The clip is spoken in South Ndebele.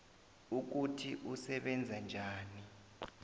ukuthi usebenza njani